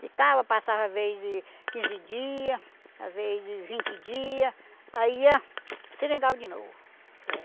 Ficava, passava às vez de quinze dias, às vezes de vinte dias, aí ia para o seringal de novo.